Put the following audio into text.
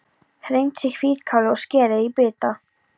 Hreinsið hvítkálið og skerið í bita.